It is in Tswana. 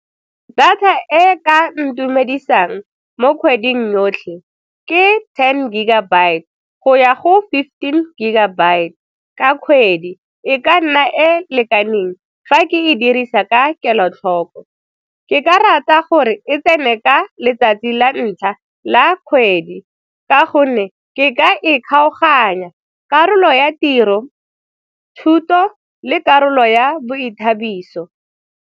Data e ka ntumedisang mo kgweding yotlhe ke ten gigabyte go ya go fifteen gigabyte ka kgwedi e ka nna e lekaneng fa ke e dirisa ka kelotlhoko. Ke ka rata gore e tsene ka letsatsi la ntlha la kgwedi ka gonne ke ka e kgaoganya karolo ya tiro, thuto le karolo ya boithabiso.